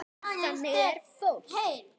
Þannig er fólk.